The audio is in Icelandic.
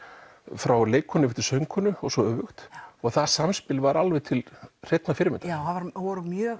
frá leikkonu til söngkonu og svo öfugt og það samspil var alveg til hreinnar fyrirmyndar já það voru mjög